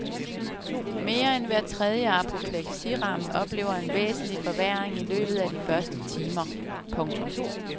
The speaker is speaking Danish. Mere end hver tredje apopleksiramt oplever en væsentlig forværring i løbet af de første timer. punktum